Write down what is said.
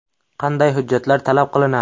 Qanday hujjatlar talab qilinadi?